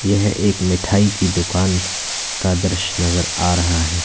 यह एक मिठाई की दुकान का दृश्य नजर आ रहा है।